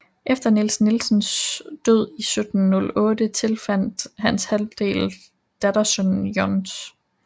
Efter Niels Nielsens død 1708 tilfaldt hans halvdel dattersønnen Johs